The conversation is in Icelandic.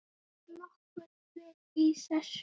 Er nokkurt vit í þessu?